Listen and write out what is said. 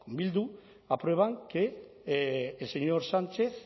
bildu aprueban que el señor sánchez